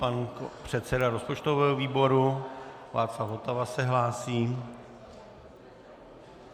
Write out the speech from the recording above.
Pan předseda rozpočtového výboru Václav Votava se hlásí.